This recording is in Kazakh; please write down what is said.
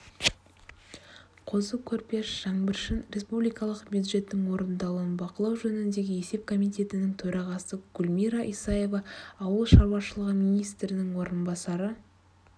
қозы-көрпеш жаңбыршин республикалық бюджеттің орындалуын бақылау жөніндегі есеп комитетінің төрағасы гүлмира исаева ауыл шаруашылығы министрінің орынбасары